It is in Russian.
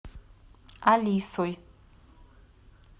алисой